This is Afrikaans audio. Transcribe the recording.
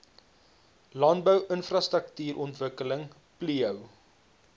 landbou infrastruktuurontwikkeling plio